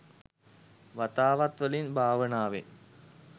වතාවත් වලින්, භාවනාවෙන්,